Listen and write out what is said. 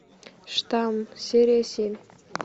штамм серия семь